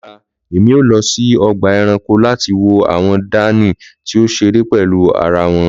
lọla emi o lọ si ọgba ẹranko lati wo awọn dani ti o ṣere pẹlu ara wọn